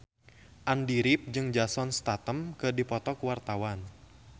Andy rif jeung Jason Statham keur dipoto ku wartawan